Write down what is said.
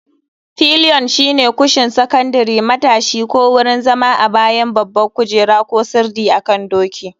Pilion shine kushin sakandare, matashi, ko wurin zama a bayan babban kujera ko sirdi akan doki.